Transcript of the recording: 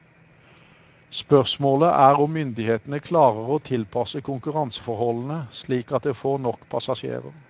Spørsmålet er om myndighetene klarer å tilpasse konkurranseforholdene slik at det får nok passasjerer.